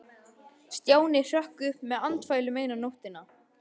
Stjáni hrökk upp með andfælum eina nóttina.